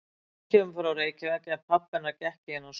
Hún kemur frá Reykjavík en pabbi hennar gekk í þennan skóla.